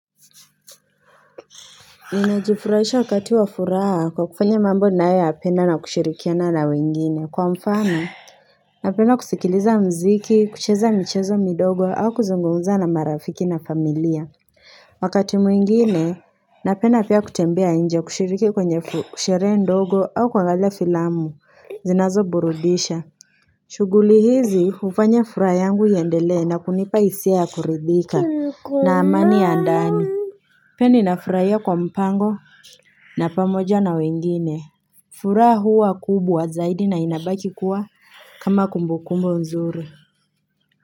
Ninajifurahisha wakati wa furaha kwa kufanya mambo ninayoyapenda na kushirikiana na wengine kwa mfano Napendaa kusikiliza mziki kucheza michezo midogo au kuzungumza na marafiki na familia Wakati mwingine napenda pia kutembea nje kushiriki kwenye ku sherehe ndogo au kuangalia filamu zinazoburudisha shughuli hizi hufanya furaha yangu iendelee na kunipa hisia ya kuridhika na amani ya ndani Pia ninafurahia kwa mpango na pamoja na wengine. Furaha huwa kubwa zaidi na inabaki kuwa kama kumbu kumbu mzuri.